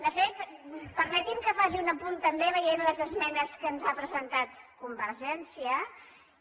de fet permeti’m que faci un apunt també veient les esmenes que ens ha presentat convergència i unió